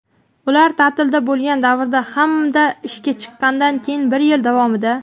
ular taʼtilda bo‘lgan davrda hamda ishga chiqqanidan keyin bir yil davomida;.